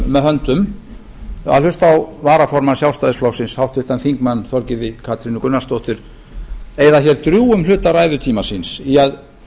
með höndum að hlusta á varaformann sjálfstæðisflokksins háttvirtur þingmaður þorgerði katrínu gunnarsdóttur eyða drjúgum hluta ræðutíma síns í að